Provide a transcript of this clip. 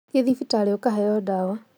Thi thibitarĩ ũkaheo ndawa